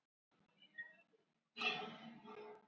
Þá varð landskjálfti við Flatey.